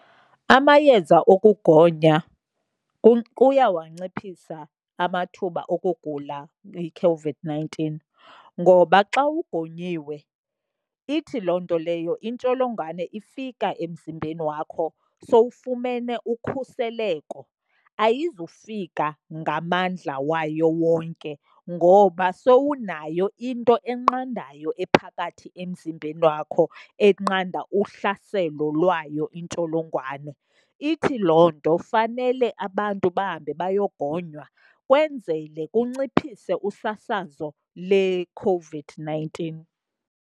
Amayeza okugonya kuyawanciphisa amathuba okugula yiCOVID-nineteen, ngoba xa ugonyiwe ithi loo nto leyo intsholongwane ifika emzimbeni wakho sowufumene ukhuseleko. Ayizufika ngamandla wayo wonke ngoba sewunayo into enqandayo ephakathi emzimbeni wakho, enqanda uhlaselo lwayo intsholongwane. Ithi loo nto fanele abantu bahambe bayogonywa kwenzele kunciphise usasazo leCOVID-nineteen.